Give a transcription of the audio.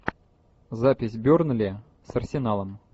запись бернли с арсеналом